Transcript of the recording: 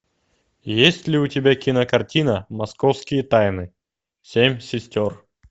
есть ли у тебя кинокартина московские тайны семь сестер